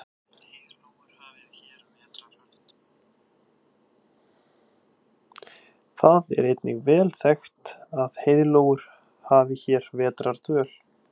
Það er einnig vel þekkt að heiðlóur hafi hér vetrardvöl.